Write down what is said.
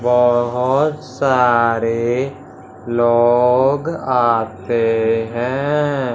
बहुत सारे लोग आते हैं।